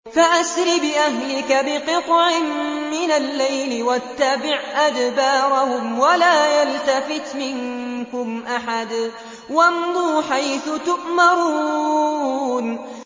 فَأَسْرِ بِأَهْلِكَ بِقِطْعٍ مِّنَ اللَّيْلِ وَاتَّبِعْ أَدْبَارَهُمْ وَلَا يَلْتَفِتْ مِنكُمْ أَحَدٌ وَامْضُوا حَيْثُ تُؤْمَرُونَ